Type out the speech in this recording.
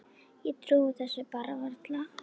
Ég trúi þessu bara varla.